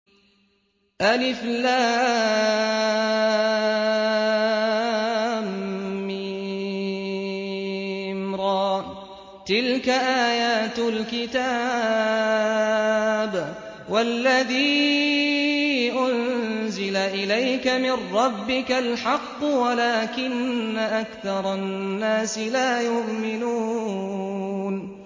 المر ۚ تِلْكَ آيَاتُ الْكِتَابِ ۗ وَالَّذِي أُنزِلَ إِلَيْكَ مِن رَّبِّكَ الْحَقُّ وَلَٰكِنَّ أَكْثَرَ النَّاسِ لَا يُؤْمِنُونَ